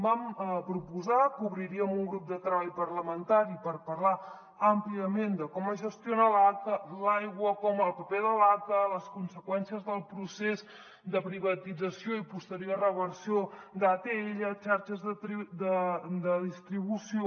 vam proposar que obriríem un grup de treball parlamentari per parlar àmpliament de com es gestiona l’aigua el paper de l’aca les conseqüències del procés de privatització i posterior reversió d’atll xarxes de distribució